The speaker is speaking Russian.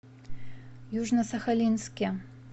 южно сахалинске